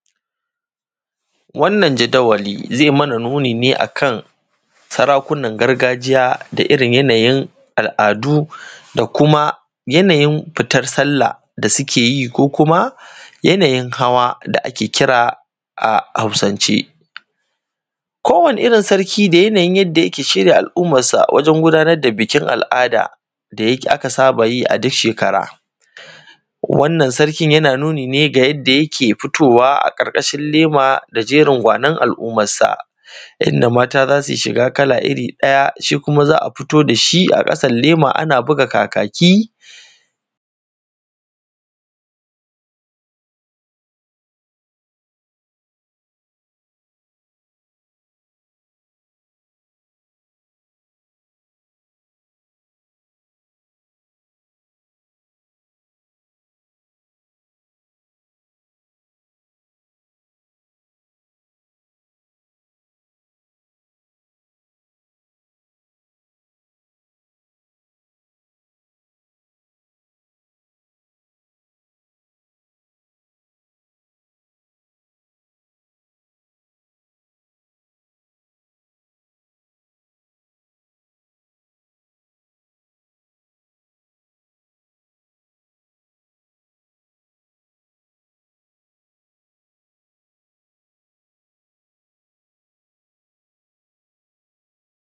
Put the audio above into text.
wannan jadawali zai mana nuni ne akan sarakunan gargajiya da irin yanayin al’adu da kuma yanayin fitar sallah da su keyi ko kuma yanayin hawa da ake kira a hausance kowanni irin sarki da yanayin yadda yake shirya al’ummar sa wajen gudanar da bikin al’ada da aka saba yi duk shekara wannan sarkin yana nuni ne da yake fitowa a ƙarƙashin lema da jerin gwanon al’ummar sa inda mata zasu yi shiga kala iri ɗaya shi kuma za a fito da shi a ƙasan lema ana buga kakaki